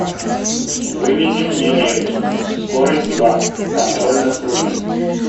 выведи мне ленту скорость два контроль над круизом